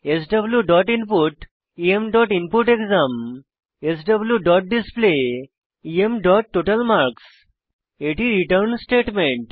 স্ব dot input em dot input exam self dot display em dot total marks এটি return statement